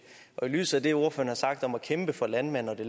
i lyset af det som ordførerne har sagt om at kæmpe for landmanden og at det